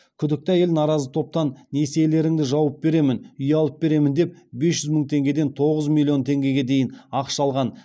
күдікті әйел наразы топтан несиелеріңді жауып беремін үй алып беремін деп бес жүз мың теңгеден тоғыз миллион теңгеге дейін ақша алған